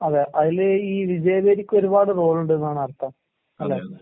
അതെ, അതില് ഈ വിജയവീഥിക്കൊരുപാട് റോളുണ്ട്ന്നാണ് അർത്ഥം. അല്ലേ?